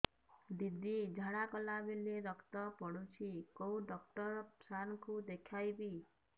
ଦିଦି ଝାଡ଼ା କଲା ବେଳେ ରକ୍ତ ପଡୁଛି କଉଁ ଡକ୍ଟର ସାର କୁ ଦଖାଇବି